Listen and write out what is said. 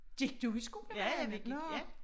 Gik du i skole med Hanne? Nåh